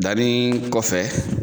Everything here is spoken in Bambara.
Danni kofɛ